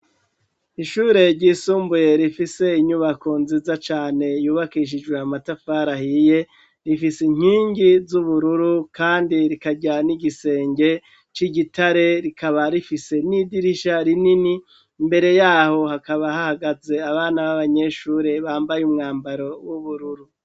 Ishure ryisumbuye rifise inyubako nziza cane yubakishijwe amatafari ahiye rifise inkingi z'ubururu kandi rikarya n'igisenge c'igitare, rikaba rifise n'idirisha rinini mbere yaho hakaba hahagaze abana b'abanyeshure bambaye umwambaro w'ubururu.